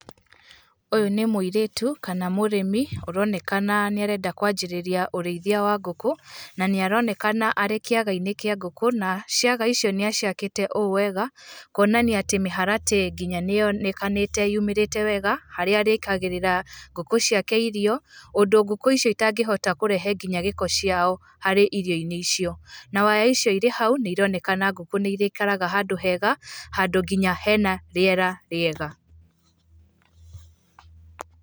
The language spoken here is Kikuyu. Ũyũ nĩ mũirĩtu kana mũrĩmi, ũronekana nĩarenda kwanjĩrĩria ũrĩithia wa ngũkũ na nĩaronekana arĩ kĩagainĩ kĩa ngũkũ na ciaga icio nĩaciakĩte ũũ wega kwonania atĩ mĩharatĩ ĩyo nginya nĩyonekanĩte yumĩrĩte wega harĩa arĩĩkagĩrĩra ngũkũ ciake irio, ũndũ ngũkũ icio itangĩhota nginyagia kũrehe nginya gĩko ciao harĩ irioinĩ icio, na waya icio irĩ hau nĩironekana ngũkũ nĩirĩikara handũ hega handũ nginya hena rĩera rĩega.